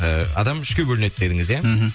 ы адам үшке бөлінеді дедіңіз ия мхм